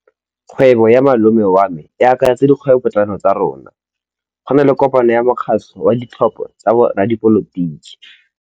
Kgwêbô ya malome wa me e akaretsa dikgwêbôpotlana tsa rona. Go na le kopanô ya mokgatlhô wa ditlhopha tsa boradipolotiki.